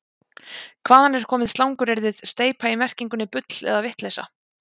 hvaðan er komið slanguryrðið „steypa í merkingunni bull eða vitleysa